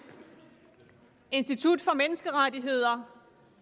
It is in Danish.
institut for menneskerettigheder